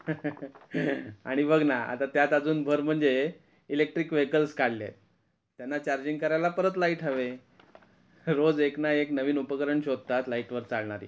terआणि बघ ना आता त्यात अजून भर म्हणजे इलेक्ट्रिक वेहिकल्स काढलेत, त्यांना चार्जिंग करायला परत लाईट हवे, रोज एकना एक नवीन उपकरण शोधतात लाइट वर चालणार.